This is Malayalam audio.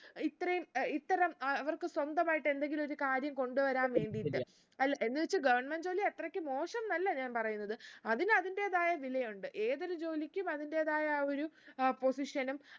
ഇത്രയും ഏർ ഇത്തരം അഹ് അവർക്ക് സ്വന്തമായിട്ട് എന്തെങ്കിലും ഒരു കാര്യം കൊണ്ട് വരാൻ വേണ്ടീട്ട് അല്ല എന്ന് വെച്ച് government ജോലി അത്രക്ക് മോശംന്നല്ല ഞാൻ പറയുന്നത് അതിന് അതിന്റെതായ വിലയുണ്ട് ഏതൊരു ജോലിക്കും അതിന്റേതായ അഹ് ഒരു position ഉം